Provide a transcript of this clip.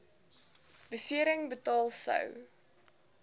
besering betaal sou